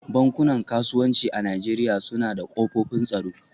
Bankunan kasuwanci a Najeriya suna da kofofin tsaro